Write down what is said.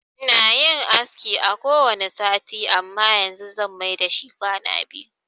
Ina yin aski kowanne sati amma yanzu zan mai dashi kwana biyu.